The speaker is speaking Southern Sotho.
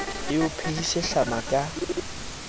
e o phehise hlama ka